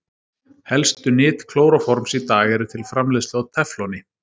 Helstu nyt klóróforms í dag eru til framleiðslu á tefloni.